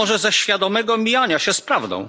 A może ze świadomego mijania się z prawdą?